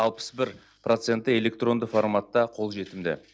алпыс бір проценті электронды форматта қолжетімді